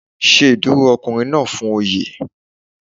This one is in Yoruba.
Ṣe ìdúró ọkùnrin náà fún Oyè.